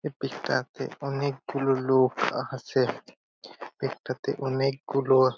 এই পিক -টা তে অনকে গুলো লোক আহছে এই পিক -টা তে অনকে গুলো--